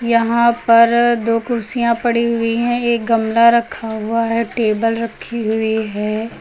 यहां पर दो कुर्सियां पड़ी हुई है एक गमला रखा हुआ है टेबल रखी हुई है।